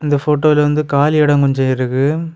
இந்த போட்டோல வந்து காலி எடோ கொஞ்சொ இருக்கு.